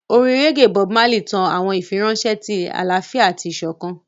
Orin reggae Bob Marley tan awọn ifiranṣẹ ti alaafia ati isokan.